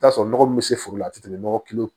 I bi t'a sɔrɔ nɔgɔ min bɛ se foro la a tɛ tɛmɛ nɔgɔ kilo